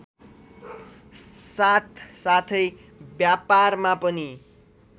साथसाथै व्यापारमा पनि